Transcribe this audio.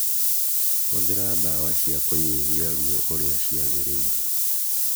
Hũthira dawa cia kũnyihia ruo ũrĩa ciagĩrĩire